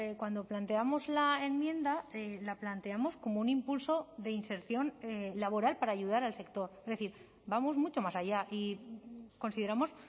cuando planteamos la enmienda la planteamos como un impulso de inserción laboral para ayudar al sector es decir vamos mucho más allá y consideramos